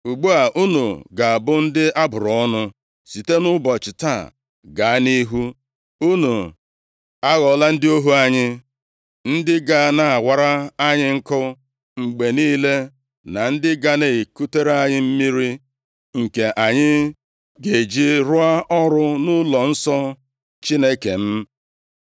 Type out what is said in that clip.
Ugbu a, unu ga-abụ ndị a bụrụ ọnụ. Site nʼụbọchị taa gaa nʼihu, unu aghọọla ndị ohu anyị, ndị ga na-awara anyị nkụ mgbe niile, na ndị ga na-ekutere anyị mmiri nke anyị ga-eji rụọ ọrụ nʼụlọnsọ Chineke m.”